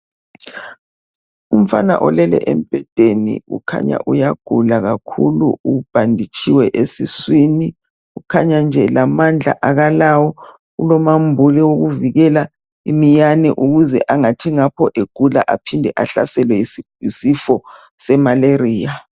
Umfana olele embhedeni ukhanya uyagula kakhulu ubhanditshiwe esiswini kukhanya nje lamandla akalawo kulomambule wokuvikela iminyane ukuze angathi ngapho egula aphinde ehlaselwe yisifo semalaria.